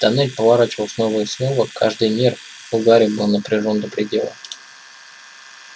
тоннель поворачивал снова и снова каждый нерв у гарри был напряжён до предела